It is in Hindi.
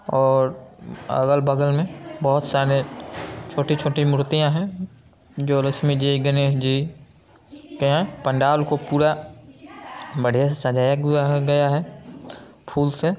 और अगल-बगल में बहुत सारे छोटी-छोटी मूर्तियां है जो लक्ष्मीजी गणेशजी के है पंडाल को पुरा बढ़िया से सजाया गया है फूल से--